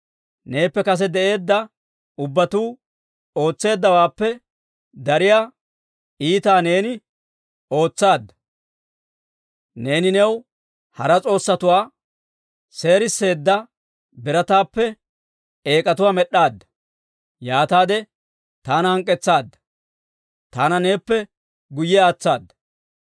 Neeppe kase de'eedda ubbatuu ootseeddawaappe dariyaa iitaa neeni ootsaadda; neeni new hara s'oossatuwaa, seeriseedda birataappe eek'atuwaa med'd'aadda. Yaataade taana hank'k'etsaadda; taana neeppe guyye aatsaada.